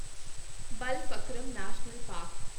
Balphakram national park